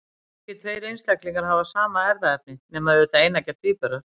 Engir tveir einstaklingar hafa sama erfðaefni, nema auðvitað eineggja tvíburar.